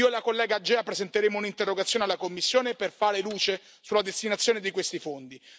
Io e la collega Agea presenteremo un'interrogazione alla Commissione per fare luce sulla destinazione di questi fondi.